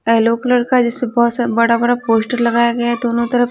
yellow colour का जिसपे बहुत बड़ा-बड़ा पोस्टर लगाया गया है दोनों तरफ--